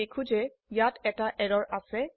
আমি দেখো যে ইয়াত এটা এৰৰ আছে